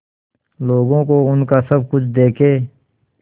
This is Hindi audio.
लोगों को उनका सब कुछ देके